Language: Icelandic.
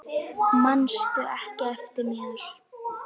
Manstu ekki eftir mér?